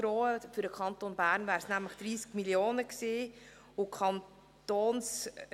Für den Kanton Bern wären es nämlich 30 Mio. Franken gewesen.